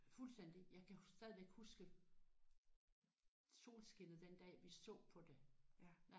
Fuldstændig. Jeg kan stadigvæk huske solskinnet den dag vi så på det